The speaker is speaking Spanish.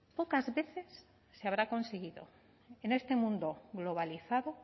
pocas veces se habrá conseguido en este mundo globalizado